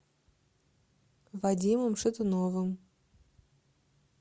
вадимом шатуновым